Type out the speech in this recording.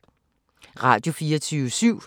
Radio24syv